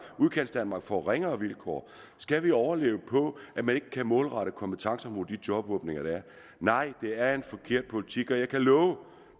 udkantsdanmark får ringere vilkår skal vi overleve på at man ikke kan målrette kompetencer mod de jobåbninger der er nej det er en forkert politik og jeg kan love